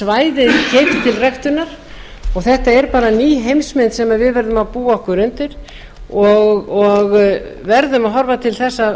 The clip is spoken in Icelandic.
til ræktunar og þetta er bara ný heimsmynd sem við verðum að búa okkur undir og verðum að horfa til þess